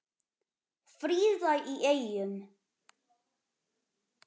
Fríða í Eyjum